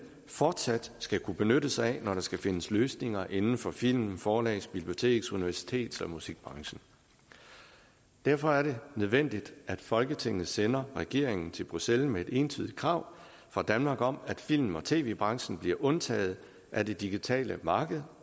fortsat skal kunne benytte sig af når der skal findes løsninger inden for film forlags biblioteks universitets og musikbranchen derfor er det nødvendigt at folketinget sender regeringen til bruxelles med et entydig krav fra danmark om at film og tv branchen bliver undtaget af det digitale marked